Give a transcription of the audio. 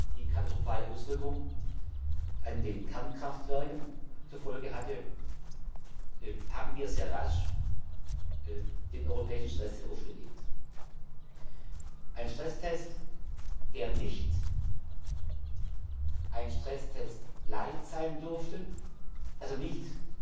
die katastrophale Auswirkung auf die Kernkraftwerke zur Folge hatte, haben wir sehr rasch den europäischen Stresstest aufgelegt ein Stresstest, der nicht ein Stresstest light sein durfte, also nicht